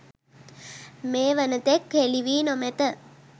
මේ වනතෙක් හෙළිවී නොමැත